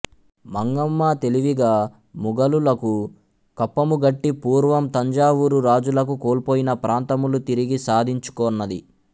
మంగమ్మ తెలివిగా ముఘలులకు కప్పముగట్టి పూర్వము తంజావూరు రాజులకు కోల్పోయిన ప్రాంతములు తిరిగి సాధించుకొన్నది